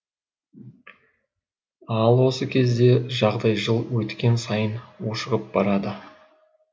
ал осы кезде жағдай жыл өткен сайын ушығып барады